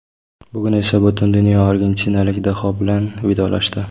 Bugun esa butun dunyo argentinalik daho bilan vidolashdi.